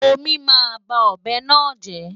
Omí máa ba ọ̀bẹ náà jẹ́.